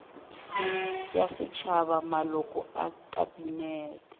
ya setšhaba maloko a kabinete